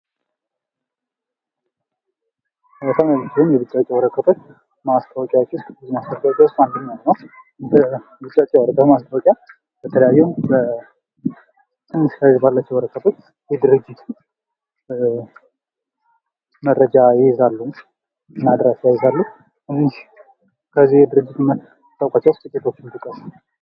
የዲጂታል ማስታወቂያ በበይነመረብና በማህበራዊ ሚዲያ የሚካሄድ ሲሆን ሰፋ ያለ ታዳሚ የመድረስና ውጤቱን የመለካት ዕድል ይሰጣል